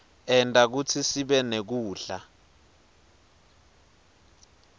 enta kutsi sibenekudla